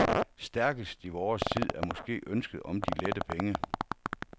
Stærkest i vores tid er måske ønsket om de lette penge.